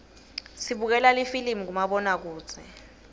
sibukela lifilimi kumabonakudze